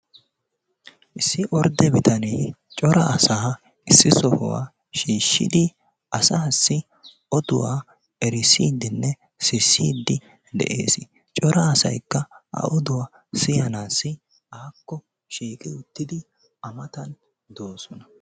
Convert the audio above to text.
Issi ordde bitanee cora asaa issi sohuwaa shiishshidi asaasi oduwa erissidinne sissiidi de'ees. Cora asaykka a oduwa siyanaassi akko shiiqi uttidi a matan doossona.